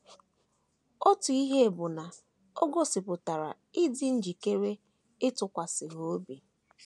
Otu ihe bụ na o gosipụtara ịdị njikere ịtụkwasị ha obi.